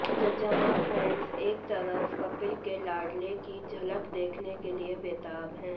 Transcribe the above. जहां फैंस एक तरफ कपिल के लाडले की झलक देखने के लिए बेताब है